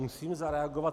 Musím zareagovat.